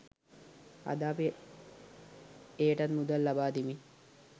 අද අපි එයටත් මුදල් ලබාදෙමින්